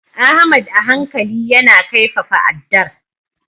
Ahmad a hankali yana kaifafa addar.